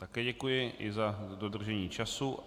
Také děkuji, i za dodržení času.